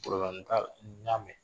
t'a la n y'a mɛn